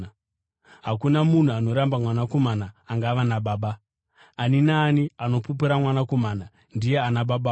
Hakuna munhu anoramba Mwanakomana angava naBaba; ani naani anopupura Mwanakomana ndiye ana Babawo.